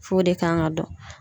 F'o de kan ŋa dɔn